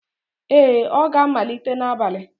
Ee, ọ ga-amalite n'abalị